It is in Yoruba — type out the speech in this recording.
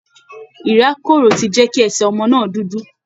Ìrákòrò ti jẹ́ kí ẹsẹ̀ ọmọ náà dúdú